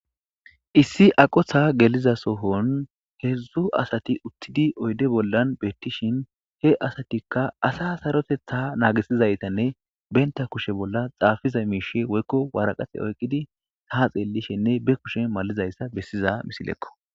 issi aqotha geliza sohon heedzdzu asati uttidi oyde bollan beettishin he asatikka asa sarotetha naagisizaytanne benta kushe bolla xaafiza miishe woykko waraqase oykqidi ha xeellishenne be kushe malizayssa bessiza misilekko